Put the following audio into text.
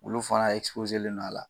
Olu fana don a la.